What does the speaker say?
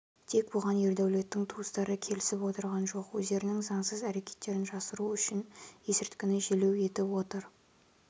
тек бұған ердәулеттің туыстары келісіп отырған жоқ өздерінің заңсыз әрекеттерін жасыру үшін ескірткіні желеу етіп отыр